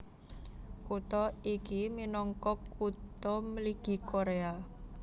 Kutha iki minangka Kutha Mligi Koréa